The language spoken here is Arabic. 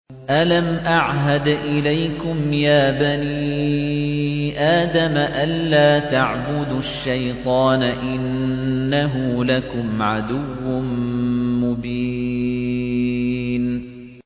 ۞ أَلَمْ أَعْهَدْ إِلَيْكُمْ يَا بَنِي آدَمَ أَن لَّا تَعْبُدُوا الشَّيْطَانَ ۖ إِنَّهُ لَكُمْ عَدُوٌّ مُّبِينٌ